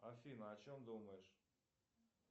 афина о чем думаешь